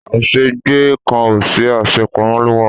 a se gbe kan o si, a se pamo lo wa